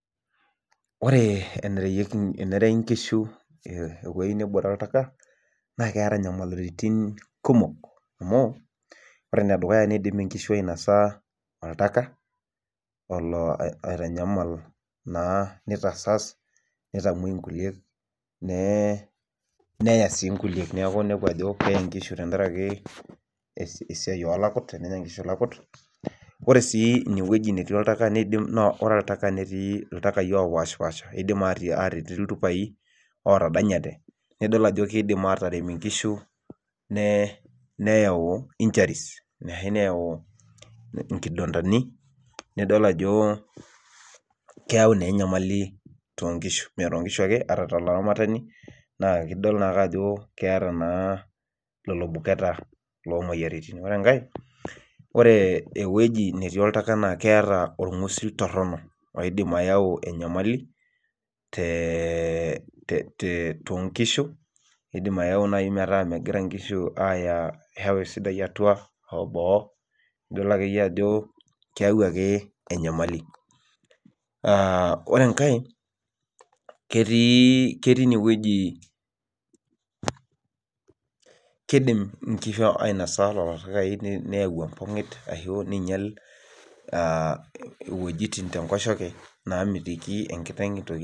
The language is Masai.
Ore enerei nkishu wuejitin neebore oltaka, naa keeta inyamalitin kumok amu ore ene dukuya tenenya nkishu oltaka, olo oianyama naa, nitasaas. nitamuoi nkulie neye. meya sii nkulie, neeku keye nkishu te nkaraki ilaput, tenenya nkishu ilaput. ore sii ine wueji neitu aikata eput ore oltaka netii, iltakai opaashipaasha. netii iltupai. ootadanyate Nidol ajo kidim aatarem nkishu neyau, injuries ashu neyau, nkidontani. nidol ajo, keyau naa enyamali tiatua nkishu ake, otalaramatani. naa idol naa ake ajo keeta, naa lelo buketa lol moyiaritin. ore enkae, ore ewueji netii oltaka naa keeta, orngusil torono. oidim ayau enyamali te, too nkishu, idim ayau naaji metaa megira nkishu, aaya meewa esidai atua. boo idol ake ajo keyau enyamali ore enkae. kegii kidim nkishu ainosa lelo takai neingia enkoshok. namitiki enkiteng' itoki.